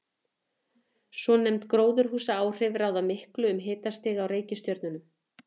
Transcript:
Svonefnd gróðurhúsaáhrif ráða miklu um hitastig á reikistjörnunum.